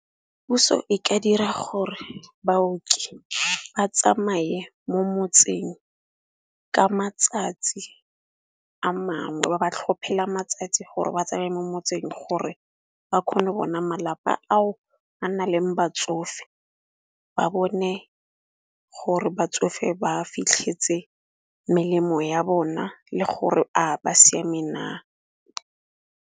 Puso e ka dira gore baoki ba tsamaye mo motseng ka matsatsi a mangwe, ba ba tlhophela matsatsi gore ba tsamaya mo motseng gore ba kgone go bona malapa ao a na leng batsofe. Ba bone gore batsofe ba fitlhetse melemo ya bona le gore a ba siameng.